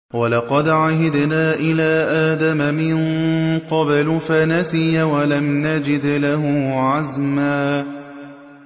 وَلَقَدْ عَهِدْنَا إِلَىٰ آدَمَ مِن قَبْلُ فَنَسِيَ وَلَمْ نَجِدْ لَهُ عَزْمًا